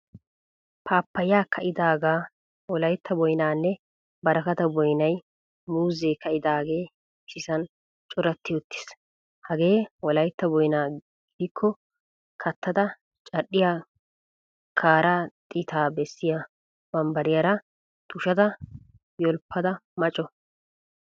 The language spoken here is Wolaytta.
Pappaya kaidaga, wolaytta boynnanne barakata boynaynne muuzzee kaidage issisan corati uttiis. Hage wolaytta boyna gidiko kattada cadhdhiyaa kaara xita besiya bambbariyaraa tushshada yolppada ma co.